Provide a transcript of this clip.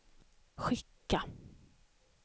skicka